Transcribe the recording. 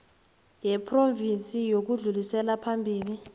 yephrovinsi yokudlulisela phambili